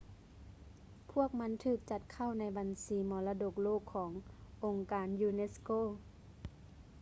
ພວກມັນຖືກຈັດເຂົ້າໃນບັນຊີມໍລະດົກໂລກຂອງ ອົງການ ຢູແນັດສະໂກ unesco